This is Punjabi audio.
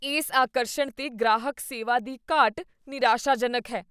ਇਸ ਆਕਰਸ਼ਣ 'ਤੇ ਗ੍ਰਾਹਕ ਸੇਵਾ ਦੀ ਘਾਟ ਨਿਰਾਸ਼ਾਜਨਕ ਹੈ।